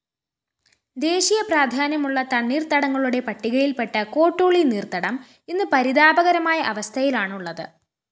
ദേശീയപ്രാധാന്യമുള്ള തണ്ണീര്‍ത്തടങ്ങളുടെ പട്ടികയില്‍പ്പെട്ട കോട്ടൂളി നീര്‍ത്തടം ഇന്ന് പരിതാപകരമായ അവസ്ഥയിലാണുള്ളത്